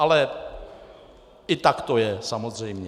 Ale i tak to je, samozřejmě.